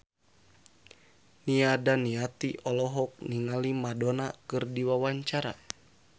Nia Daniati olohok ningali Madonna keur diwawancara